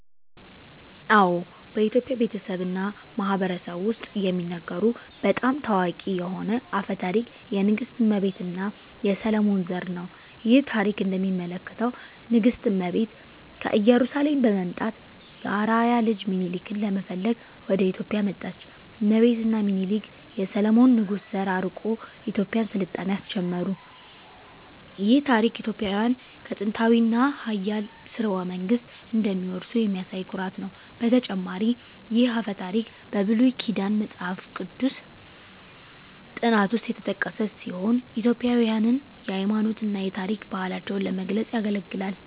አዎ፣ በኢትዮጵያ ቤተሰብ እና ማህበረሰብ ውስጥ የሚነገሩ በጣም ታዋቂ የሆነ አፈ ታሪክ የንግሥት እመቤት እና የሰሎሞን ዘር ነው። ይህ ታሪክ እንደሚያመለክተው ንግሥት እመቤት ከኢየሩሳሌም በመምጣት የአርአያ ልጅ ሚኒሊክን ለመፈለግ ወደ ኢትዮጵያ መጣች። እመቤት እና ሚኒሊክ የሰሎሞን ንጉሥ ዘር አርቆ የኢትዮጵያን ሥልጣኔ አስጀመሩ። ይህ ታሪክ ኢትዮጵያውያን ከጥንታዊ እና ኃያል ሥርወ መንግሥት እንደሚወርሱ የሚያሳይ ኩራት ነው። በተጨማሪም ይህ አፈ ታሪክ በብሉይ ኪዳን መጽሐፍ ቅዱስ ጥናት ውስጥ የተጠቀሰ ሲሆን ኢትዮጵያውያንን የሃይማኖት እና የታሪክ ባህላቸውን ለመግለጽ ያገለግላል።